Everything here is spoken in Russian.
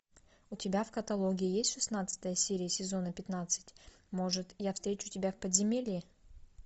у тебя в каталоге есть шестнадцатая серия сезона пятнадцать может я встречу тебя в подземелье